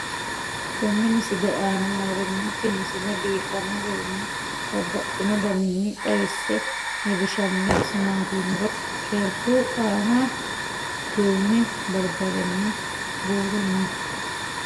tenne misile aana noorina tini misile biiffanno garinni babaxxinno daniinni xawisse leelishanori isi maati yinummoro sherku aanna duume baribarenna buuru noo.